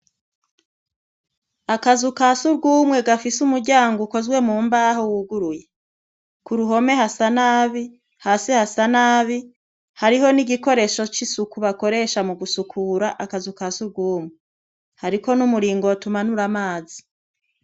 Akazu kasugwumwe gafise umuryango ukozwe mumbaho wuguruye, k'uruhome hasa nabi, hasi hasa nabi, hariho n'igikoresho c'isuku bakoresha mugusukura akazu kasugwumwe, hariko n'umuringoti umanura amazi.